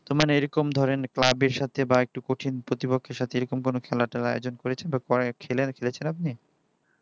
মানে এরকম ধরেন club এর সাথে বা একটু কঠিন প্রতিপক্ষের সাথে এরকম কোনো খেলা টেলা আয়োজন করেছেন বা করে খেলে খেলেছেন আপনি